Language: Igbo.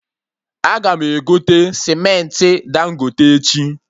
Aga m egote cementị Dangote echi